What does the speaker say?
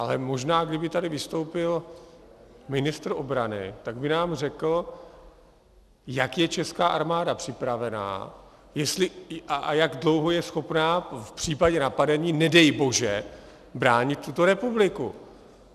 Ale možná, kdyby tady vystoupil ministr obrany, tak by nám řekl, jak je česká armáda připravena a jak dlouho je schopna v případě napadení, nedej bože, bránit tuto republiku.